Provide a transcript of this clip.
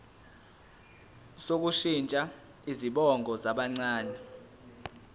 sokushintsha izibongo zabancane